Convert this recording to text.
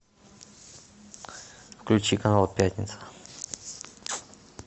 включи канал пятница